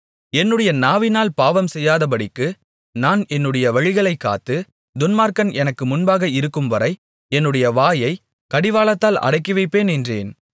என்னுடைய நாவினால் பாவம்செய்யாதபடிக்கு நான் என்னுடைய வழிகளைக் காத்து துன்மார்க்கன் எனக்கு முன்பாக இருக்கும்வரை என்னுடைய வாயைக் கடிவாளத்தால் அடக்கிவைப்பேன் என்றேன்